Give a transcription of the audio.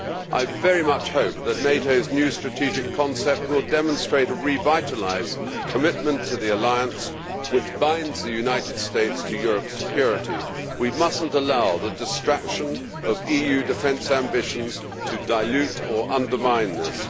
I very much hope that NATO's new strategic concept will demonstrate a revitalised commitment to the alliance which binds the United States to Europe's security. We must not allow the distraction of EU defence ambitions to dilute or undermine this.